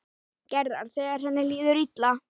Gerðar þegar henni líður illa.